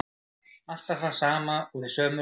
Alltaf það sama og í sömu röð.